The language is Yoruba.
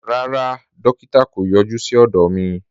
Rárá, dòkítà̀ kò yọ̀jú sí ọdọ mi.